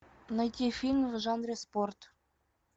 найти фильм в жанре спорт